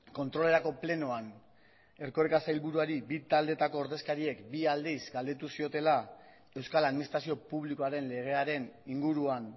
kontrolerako plenoan erkoreka sailburuari bi taldeetako ordezkariek bi aldiz galdetu ziotela euskal administrazio publikoaren legearen inguruan